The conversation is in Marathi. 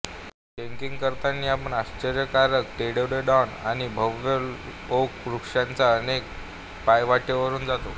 ट्रेकिंग करताना आपण आश्चर्यकारक रोडोडेंड्रॉन आणि भव्य ओक वृक्षांच्या अनेक पायवाटेवरून जातो